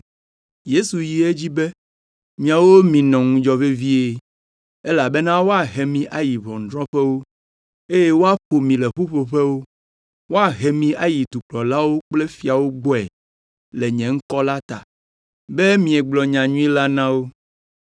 Yesu yi edzi be, “Miawo minɔ ŋudzɔ vevie, elabena woahe mi ayi ʋɔnudrɔ̃ƒewo, eye woaƒo mi le ƒuƒoƒewo. Woahe mi ayi dukplɔlawo kple fiawo gbɔe le nye ŋkɔ la ta, be miegblɔ nyanyui la na wo.